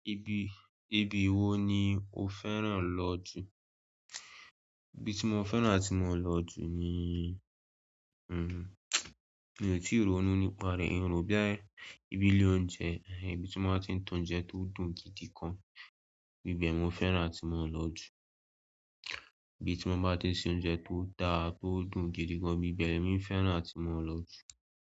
Ibi, ibi wo ni o fẹ́ràn lọ jù? Ibi tí mo fẹ́ràn àti mo ń lọ jù ni, mi ò tíì ronú nípa rẹ̀. Ìn ro boya ibi ilé oúnjẹ, ibi tí wọ́n máa tí ń ta oúnjẹ tó dùn gidi gan íbẹ̀ mo fẹ́ràn àti mo ń lọ jù. Ibi tí wọ́n bá tí ń ṣe oúnjẹ tó dára, tó dùn gidi gan bíbẹ̀ ni e mi fẹ́ràn àti mo ń lọ jù.